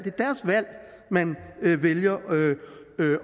man vælger